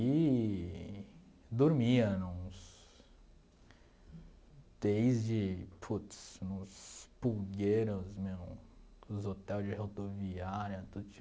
Eee... Dormia nos... Desde, putz, nos pulgueiros, meu, nos hotel de rodoviária, tudo